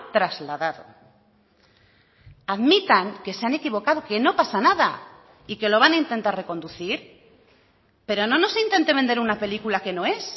trasladado admitan que se han equivocado que no pasa nada y que lo van a intentar reconducir pero no nos intente vender una película que no es